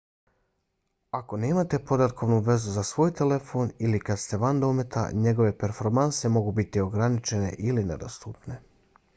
ako nemate podatkovnu vezu za svoj telefon ili kada ste van dometa njegove performanse mogu biti ograničene ili nedostupne